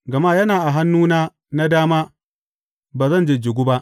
Gama yana a hannuna na dama, ba zan jijjigu ba.